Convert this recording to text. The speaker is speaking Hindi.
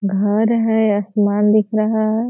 घर है आसमान दिख रहा है।